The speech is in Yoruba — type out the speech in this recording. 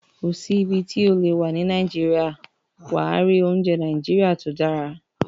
Kò sí ibi tí o lè wà ní Nàìjíríà, wà á rí oúnjẹ Nàìjíríà tó dára